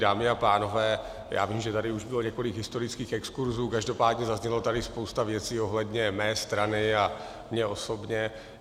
Dámy a pánové, já vím, že tady už bylo několik historických exkurzů, každopádně zazněla tady spousta věcí ohledně mé strany a mně osobně.